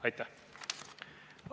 Aitäh!